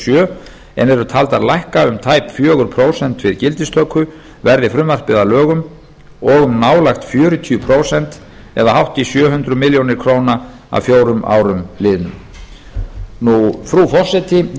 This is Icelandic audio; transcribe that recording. sjö en eru taldar lækka um tæp fjögur prósent við gildistöku verði frumvarpið að lögum og um nálægt fjörutíu prósent eða hátt í sjö hundruð milljóna króna að fjórum árum liðnum frú forseti að þessu sögðu